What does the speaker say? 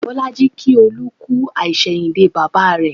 Bolaji kí Olú kú àsẹ̀yìndè bàbà rẹ